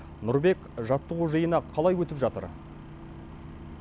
нұрбек жаттығу жиыны қалай өтіп жатыр